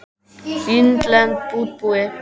Innlend útibú.